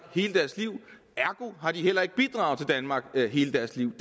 hele deres liv ergo har de heller ikke bidraget til danmark hele deres liv